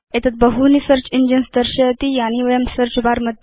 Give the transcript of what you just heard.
एतत् बहूनि search engines दर्शयति यानि वयं सेऽर्च बर